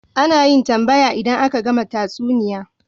Ana yin tambaya idan aka gama tatsuniya